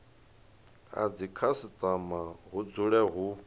a dzikhasitama hu dzule hu